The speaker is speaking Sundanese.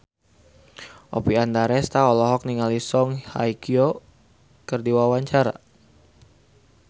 Oppie Andaresta olohok ningali Song Hye Kyo keur diwawancara